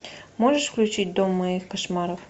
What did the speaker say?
можешь включить дом моих кошмаров